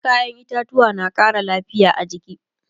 kayan itatauwa na Ƙara lafia a jiki